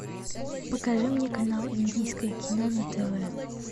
покажи мне канал индийское кино на тв